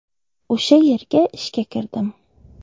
O‘sha yerga ishga kirdim.